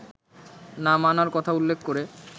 না মানার কথা উল্লেখ করে